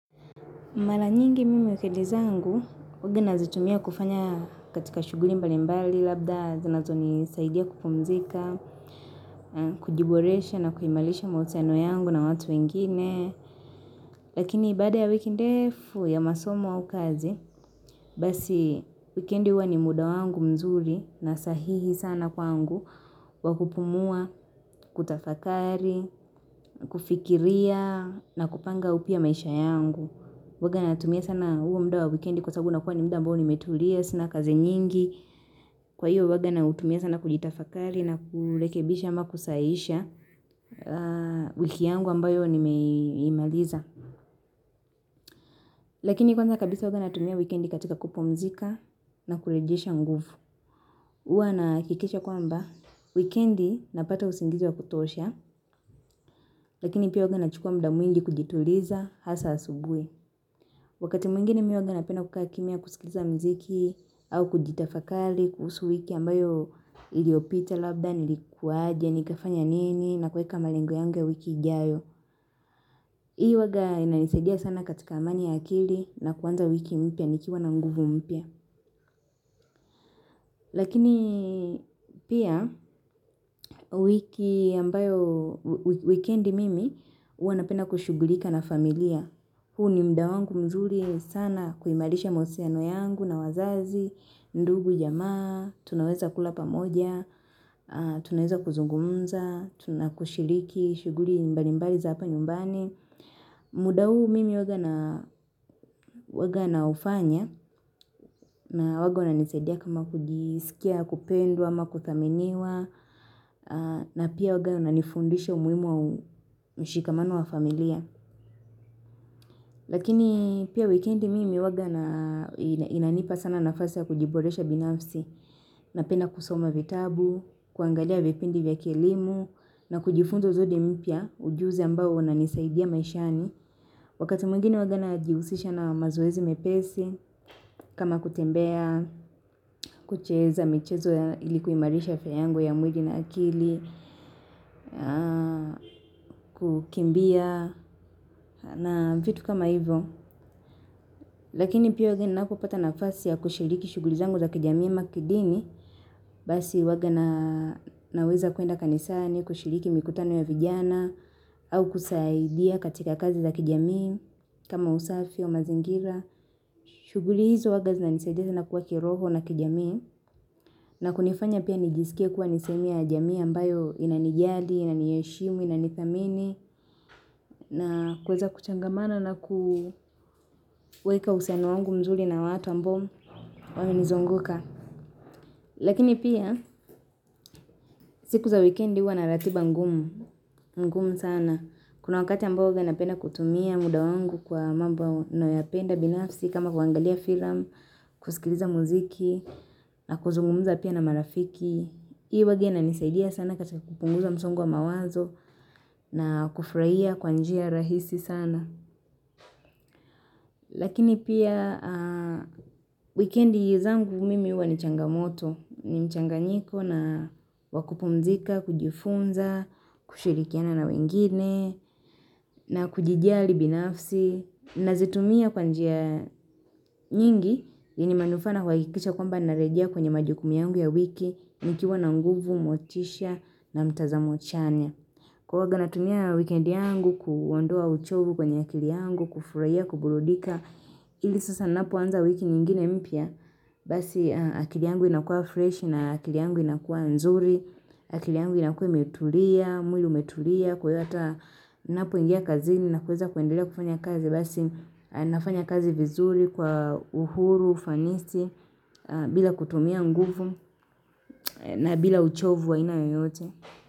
Mara nyingi mimi wikendi zangu huwaga nazitumia kufanya katika shughuri mbalimbali labda zinazonisaidia kupumzika, kujiboresha na kuhimalisha mahusiano yangu na watu wengine. Lakini baada ya wiki ndefu ya masomo au kazi, basi wikendi huwa ni muda wangu mzuri na sahihi sana kwangu wa kupumua, kutafakari, kufikiria na kupanga upya maisha yangu. Huwaga natumia sana huo mda wa wikendi kwa sabu unakuwa ni mda ambao nimetulia, sina kazi nyingi Kwa hiyo huwaga nautumia sana kujitafakari na kurekebisha ama kusahihisha wiki yangu ambayo nimeimaliza Lakini kwanza kabisa huwaga natumia wikendi katika kupumzika na kurejesha nguvu uwa nahakikisha kwamba wikendi napata usingizi wa kutosha Lakini pia huwaga nachukua mda mwingi kujituliza hasa asubuhi Wakati mwingine mi huwaga napenda kukaa kimya kusikiliza mziki au kujitafakali kuhusu wiki ambayo iliopita labda nilikuwaje nikafanya nini na kuweka malengo yangu ya wiki ijayo. Hii huwaga inanisaidia sana katika amani ya akili na kuanza wiki mpya nikiwa na nguvu mpya. Lakini pia wiki ambayo wikendi mimi huwa napenda kushugulika na familia. Huu ni mda wangu mzuri sana kuimalisha mausiano yangu na wazazi, ndugu jamaa, tunaweza kula pamoja, tunaweza kuzungumza, tuna kushiriki, shughuri mbalimbali za hapa nyumbani. Muda huu mimi huwaga naufanya na huwaga wananisaidia kama kujisikia, kupendwa, ama kuthaminiwa, na pia huwaga unanifundisha umuimu wa mshikamano wa familia. Lakini pia wikendi mimi huwaga inanipa sana nafasi ya kujiboresha binafsi napenda kusoma vitabu, kuangalia vipindi vya kielimu na kujifunza zodi mpya ujuzi ambao unanisaidia maishani. Wakati mwingine huwaga najihusisha na mazoezi mepesi kama kutembea, kucheza michezo ili kuimarisha viyango ya mwili na akili, kukimbia na vitu kama hivo. Lakini pia huwaga napopata nafasi ya kushiriki shughuli zangu za kijamii ama kidini Basi huwaga naweza kuenda kanisani kushiriki mikutano ya vijana au kusaidia katika kazi za kijamii kama usafi wa mazingira shughuli hizo huwaga zinanisaidia sana kuwa kiroho na kijamii na kunifanya pia nijisikie kuwa ni sehemu ya jamii ambayo inanijali, inaniheshimu, inanithamini na kuweza kuchangamana na kuweka uhusiano wangu mzuri na watu ambao mu wamenizunguka. Lakini pia, siku za wikendi huwa na ratiba ngumu sana. Kuna wakati ambao huwa napenda kutumia muda wangu kwa mambo nayopenda binafsi kama kuangalia filam, kusikiliza muziki, na kuzungumuza pia na marafiki. Hii huwaga inanisaidia sana katika kupunguza msongo wa mawazo na kufraia kwa njia rahisi sana. Lakini pia wikendi zangu mimi huwa ni changamoto, ni mchanganyiko na wa kupumzika, kujifunza, kushirikiana na wengine, na kujijali binafsi. Nazitumia kwa njia nyingi yenye manufaa na kuhakikisha kwamba narejea kwenye majukumu yangu ya wiki, nikiwa na nguvu, motisha na mtazamo chanya. Kwa huwaga natumia wikendi yangu kuondoa uchovu kwenye akili yangu, kufurahia, kuburudika, ili sasa napoanza wiki nyingine mpya, basi akili yangu inakua fresh na akili yangu inakua nzuri, akili yangu inakua imetulia, mwili umetulia, kwa wata napoingia kazini na kuweza kuendelea kufanya kazi, basi nafanya kazi vizuri kwa uhuru, ufanisi, bila kutumia nguvu na bila uchovu wa aina yoyote.